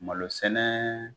Malo sɛnɛ